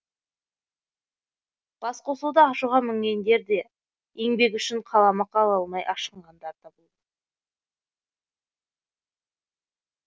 басқосуда ашуға мінгендер де еңбегі үшін қаламақы ала алмай ашынғандар да болды